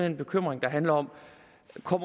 en bekymring der handler om